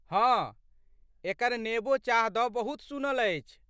हँ, एकर नेबो चाह दऽ बहुत सुनल अछि।